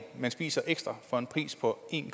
man spiser for en pris på en